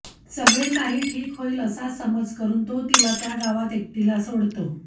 सगळे काही ठीक होईल असा समज करून तो तिला त्या गावात एकटीला सोडतो